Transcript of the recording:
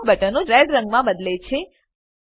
તમામ બટનો રેડ રંગમાં બદલે છે